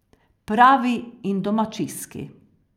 Pravi in domačijski.